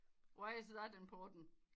Why is that important